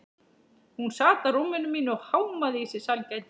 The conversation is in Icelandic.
Hún sat á rúminu mínu og hámaði í sig sælgætið.